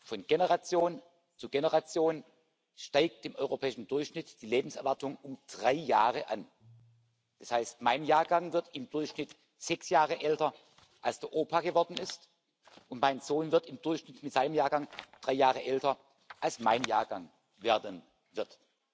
Von Generation zu Generation steigt im europäischen Durchschnitt die Lebenserwartung um drei Jahre an Das heißt, mein Jahrgang wird im Durchschnitt sechs Jahre älter, als der Opa geworden ist, und mein Sohn wird im Durchschnitt mit seinem Jahrgang drei Jahre älter als mein Jahrgang werden wird.